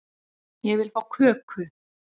Ég vil fá köku